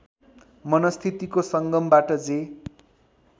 मनस्थितिको सङ्गमबाट जे